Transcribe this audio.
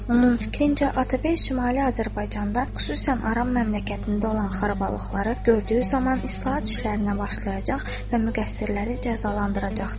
Onun fikrincə, Atabəy Şimali Azərbaycanda, xüsusən Aran məmləkətində olan xarabalıqları gördüyü zaman islahat işlərinə başlayacaq və müqəssirləri cəzalandıracaqdı.